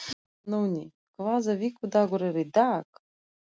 Nóni, hvaða vikudagur er í dag?